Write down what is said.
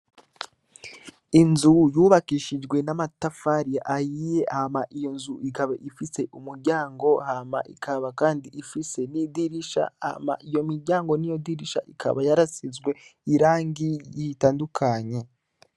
Inzu yubakishishwe namatafari ahiye hama iyonzu ikaba ifise umuryango ham ikaba kandi ifise nidirisha hama iyo miryango niyo dirisha bikaba byarasizwe irangi itandukanye